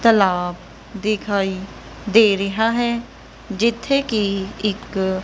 ਤਲਾਬ ਦਿਖਾਈ ਦੇ ਰਿਹਾ ਹੈ ਜਿੱਥੇ ਕਿ ਇੱਕ --